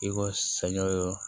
I ko sɛɲɔ yɔrɔ